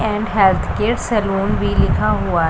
and health care salon भी लिखा हुआ--